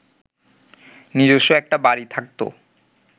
নিজস্ব একটা বাড়ি থাকত